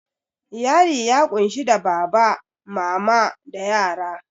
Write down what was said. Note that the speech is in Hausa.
Iyali ya kunshi da baba, mama, da yara